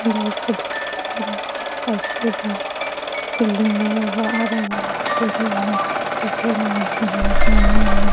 White shirt वाला जा रहा है साइकिल है बाहर बिल्डिंग लगा हुआ हरा-भरा पेड़े है इसके बगल में मकाने है।